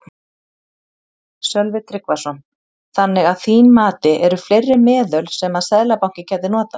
Sölvi Tryggvason: Þannig að þín mati eru fleiri meðöl sem að Seðlabankinn gæti notað?